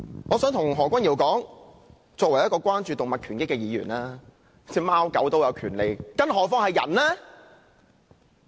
我想告訴何君堯議員，我作為一個關注動物權益的議員，認為貓狗也有權利，更何況是人呢！